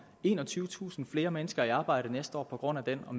enogtyvetusind flere mennesker i arbejde næste år på grund af den og